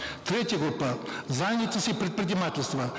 третья группа занятость и предпринимательство